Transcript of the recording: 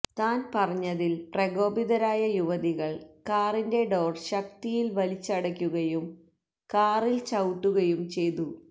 താന് പറഞ്ഞതില് പ്രകോപിതരായ യുവതികള് കാറിന്റെ ഡോര് ശക്തിയില് വലിച്ചടയ്ക്കുകയും കാറില് ചവിട്ടുകയും ചെയ്തു